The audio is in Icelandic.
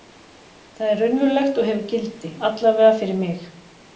Það er raunverulegt og hefur gildi, allavega fyrir mig.